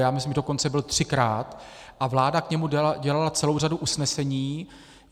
Já myslím, že dokonce byl třikrát a vláda k němu dělala celou řadu usnesení.